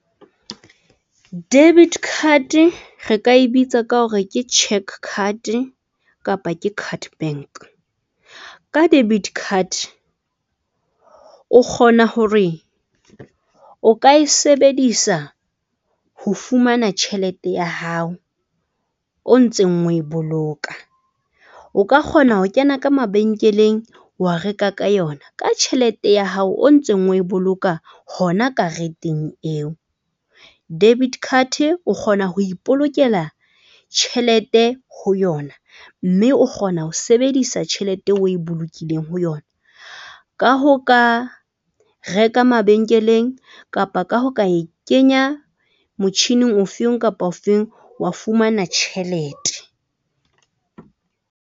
Debit card re ka e bitsa ka hore ke cheque card kapa ke card bank, ka debit card, o kgona hore o ka e sebedisa ho fumana tjhelete ya hao o ntseng oe boloka o ka kgona ho kena ka mabenkeleng, wa reka ka yona ka tjhelete ya hao o ntseng o e boloka hona kareteng eo. Debit card o kgona ho ipolokela tjhelete ho yona mme o kgona ho sebedisa tjhelete o e bolokileng ho yona. Ka hoo ka reka mabenkeleng kapa ka ho ka e kenya motjhining o feng kapa o feng, wa fumana tjhelete.